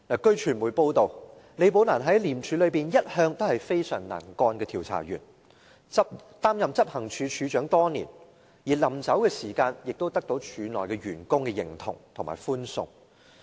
據傳媒報道，李寶蘭在廉署內一向是非常能幹的調查員，擔任執行處處長多年，而離職時亦得到署內員工的認同和歡送。